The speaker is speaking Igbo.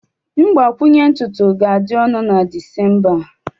mgbakwunye ntutu ga-adị ọnụ na Disemba a